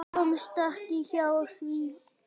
Hún komst ekki hjá því.